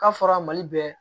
K'a fɔra mali bɛɛ